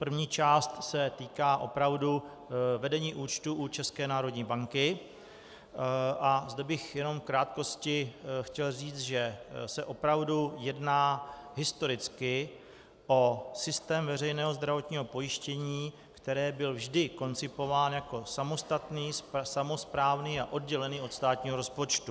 První část se týká opravdu vedení účtu u České národní banky, a zde bych jenom v krátkosti chtěl říct, že se opravdu jedná historicky o systém veřejného zdravotního pojištění, který byl vždy koncipován jako samostatný, samosprávný a oddělený od státního rozpočtu.